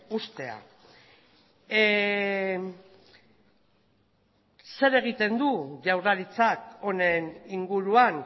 uztea zer egiten du jaurlaritzak honen inguruan